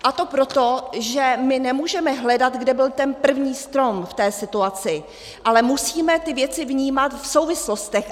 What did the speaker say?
A to proto, že my nemůžeme hledat, kde byl ten první strom v té situaci, ale musíme ty věci vnímat v souvislostech.